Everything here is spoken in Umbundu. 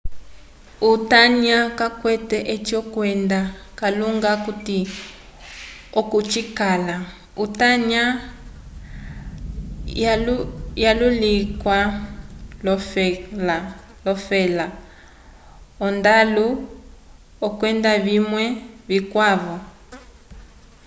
utanya kawukwete oci kwenda kalunga akuti oko cikala utanya walulikiwa l'olofela ondalu kwenda vimwe vikwavo